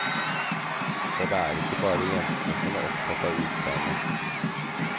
For det er ikke bare jentene som er opptatt av utseendet.